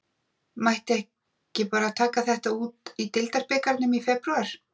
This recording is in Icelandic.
Mætti ekki bara taka þetta út í deildarbikarnum í febrúar?